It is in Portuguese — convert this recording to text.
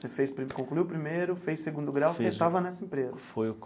Você fez pri concluiu o primeiro, fez o segundo grau, você estava nessa empresa. Foi.